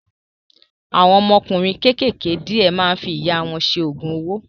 Àwọn ọmọkùnrin kékèké díẹ̀ máa ń fi ìyà wọn ṣe Ògùn owó